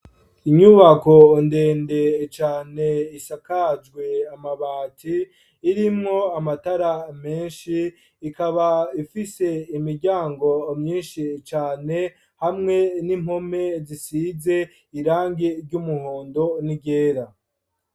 Inyubako ndende cane, isakajwe amabati; irimwo amatara, menshi, ikaba ifise imiryango, myinshi cane, hamwe n'impome, zisize irangi ry'umuhondo n'iryera.